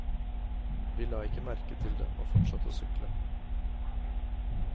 Vi la ikke merke til det og fortsatte å sykle.